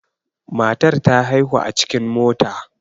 Matar ta haihu a cikin mota.